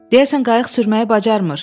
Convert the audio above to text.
Deyəsən qayıq sürməyi bacarmır.